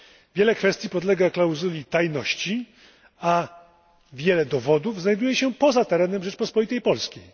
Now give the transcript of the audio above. Wiele kwestii podlega klauzuli tajności, a wiele dowodów znajduje się poza terenem Rzeczpospolitej Polskiej.